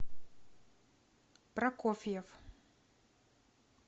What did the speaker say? прокофьев